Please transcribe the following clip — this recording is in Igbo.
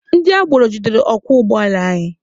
Ndị agboro jidere ọkwọ ụgbọala anyị.